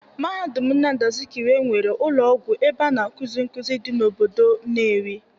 Mahadum Nnamdi Azikiwe nwere ụlọ ọgwụ ebe a na-akuzi nkuzi dị n'obodo Nnewi.